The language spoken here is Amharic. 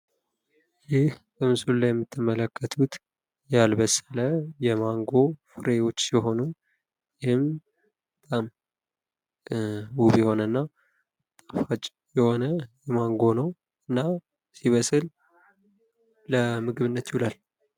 ይህ በምስሉ ላይ የምትመለከቱት ያልበሰለ የማንጎ ፍሬዎች ሲሆኑ ይህም ውብ የሆነ እና ጣፋጭ የሆነ ማንጎ ነው እና ሲበስል ለምግብነት ይውላሉ ።